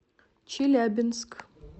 челябинск